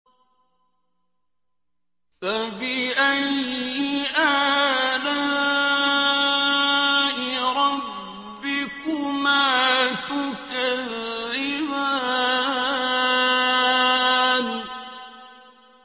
فَبِأَيِّ آلَاءِ رَبِّكُمَا تُكَذِّبَانِ